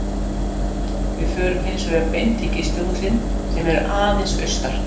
Við förum hins vegar beint í gistihúsin sem eru aðeins austar.